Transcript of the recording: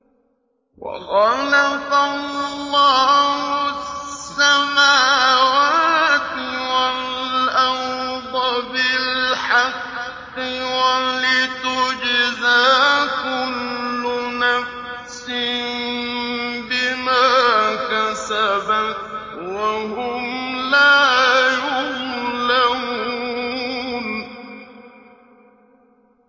وَخَلَقَ اللَّهُ السَّمَاوَاتِ وَالْأَرْضَ بِالْحَقِّ وَلِتُجْزَىٰ كُلُّ نَفْسٍ بِمَا كَسَبَتْ وَهُمْ لَا يُظْلَمُونَ